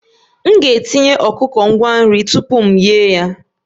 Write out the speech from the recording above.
M ga-etinye ọkụkọ ngwa nri tupu m eghe ya